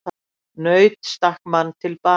Naut stakk mann til bana